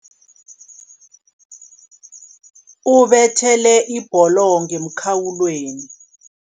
Ubethele ibholo ngemkhawulweni.